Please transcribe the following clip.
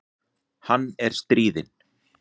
Hann er stríðinn.